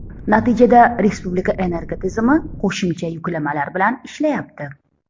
Natijada respublika energotizimi qo‘shimcha yuklamalar bilan ishlayapti.